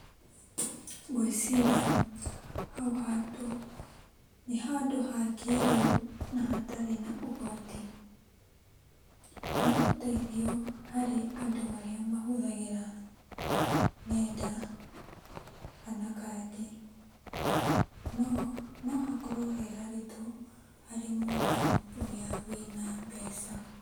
Ngwĩciria hau handũ nĩ handũ hakĩrĩu na hatarĩ na ũgwati. Nĩũteithio harĩ andũ arĩa mahũthagĩra nenda kana kandi. No, nohakorwo he haritũ harĩ mũndũ ũrĩa wĩna mbeca.